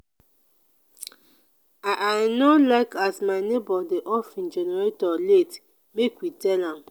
i i no like as my nebor dey off im generator late make we tell am.